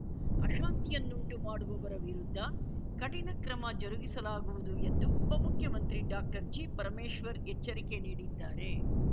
ಅಶಾಂತಿಯನ್ನುಂಟು ಮಾಡುವವರ ವಿರುದ್ಧ ಕಠಿಣ ಕ್ರಮ ಜರುಗಿಸಲಾಗುವುದು ಎಂದು ಉಪಮುಖ್ಯಮಂತ್ರಿ ಡಾಕ್ಟರ್ಜಿಪರಮೇಶ್ವರ್‌ ಎಚ್ಚರಿಕೆ ನೀಡಿದ್ದಾರೆ